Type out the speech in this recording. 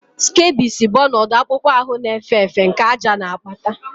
Scabies bụ ọnọdụ akpụkpọ ahụ na-efe efe nke àjà na-akpata